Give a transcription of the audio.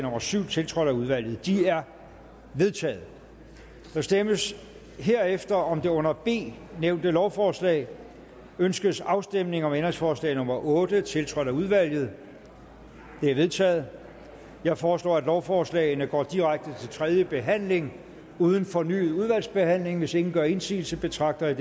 syv tiltrådt af udvalget de er vedtaget der stemmes herefter om det under b nævnte lovforslag ønskes afstemning om ændringsforslag nummer otte tiltrådt af udvalget det er vedtaget jeg foreslår at lovforslagene går direkte til tredje behandling uden fornyet udvalgsbehandling hvis ingen gør indsigelse betragter jeg